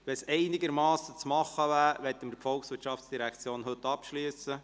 Wenn es einigermassen machbar wäre, möchten wir die Geschäfte der VOL heute abschliessen.